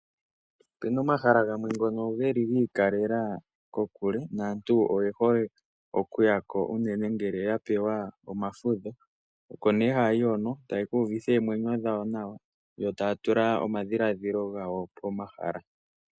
Opena omahala gamwe ngoka geli giikalela kokule naantu oye hole okuyako ngele yapewa omafudho oko nee haya yi hono taya ka ihuvitha eemwenyo dhawo nawa ee taya tula oomwenyo dhawo pomahala.